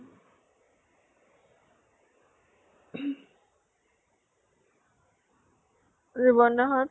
যুবনা হঁত ?